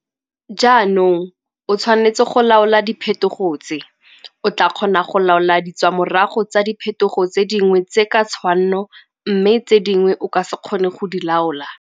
Jaanong o tshwanetse go laola diphethogo tse. O tlaa kgona go laola ditswamorago tsa diphethogo tse dingwe tse ka tshwanno mme tse dingwe o ka se kgone go di laola.